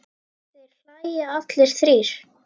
Þeir hlæja allir þrír.